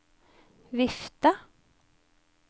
vifte